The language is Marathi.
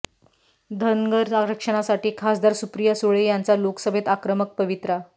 धनगर आरक्षणासाठी खासदार सुप्रिया सुळे यांचा लोकसभेत आक्रमक पवित्रा